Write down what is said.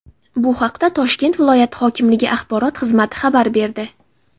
Bu haqda Toshkent viloyati hokimligi axborot xizmati xabar berdi.